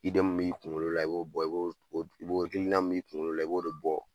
m b'i kuŋolo la i b'o bɔ i b'o o d i b'o hakilina min b'i kuŋolo la i b'o de bɔ